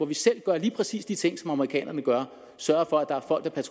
vi selv gør lige præcis de ting som amerikanerne gør sørger for at der er folk der